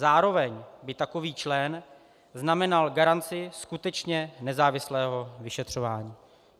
Zároveň by takový člen znamenal garanci skutečně nezávislého vyšetřování.